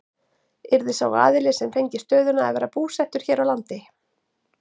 Yrði sá aðili sem fengi stöðuna að vera búsettur hér á landi?